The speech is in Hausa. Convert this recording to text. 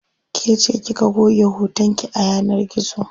Kece kika goge hoton ki a yanar gizo.